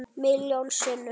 Milljón sinnum.